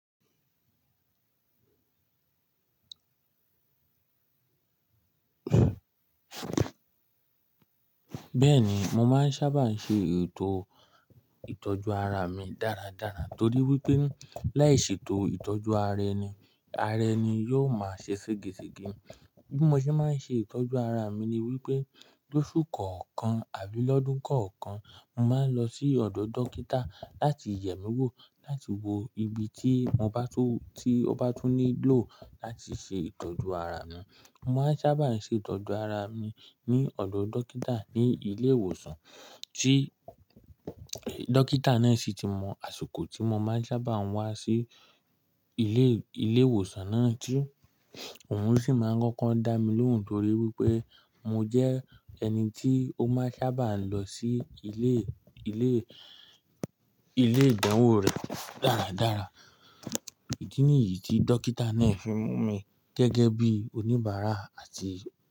Bẹ́ẹ̀ni, mo máa ń sábà ṣe ètò ìtọ́jú ara mi dáradára torí wípé láìṣe ètò ìtọ́jú ara ẹni, ara ẹni yóò máa ṣe ségesìgi. Bí mo ṣe máa ń ṣe ìtọ́jú ara mi ni wípé lóṣù kọ̀ọ̀kan àbí lọ́dún kọ̀ọ̀kan, mo máa ń lọ sí ọ̀dọ̀ dókítà láti yẹ̀ mí wò láti wo ibi tí mo bá tún, tí ó bá tún nílò láti ṣe ìtọ́jú ara mi. Mo máa ń sábà ṣe ìtọ́jú ara mi ní ọ̀dọ̀ dókítà ní ilé ìwòsàn tí dókítà náà sì ti mọ̀ àsìkò tí mo máa ń sábà wá sí ilé, ilé ìwòsàn náà tí òun sì máa ń kọ́kọ́ dá mi lóhùn torí wípé mo jẹ́ ẹni tí ó máa ń sábà lọ sí ilé, ilé, ilé ìdánwò rẹ̀ dáradára. Ìdí nìyí tí dókítà náà fi mú mi gẹ́gẹ́ bí oníbàárà àti.